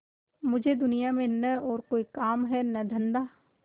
मुझे दुनिया में न और कोई काम है न धंधा